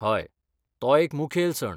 हय, तो एक मुखेल सण.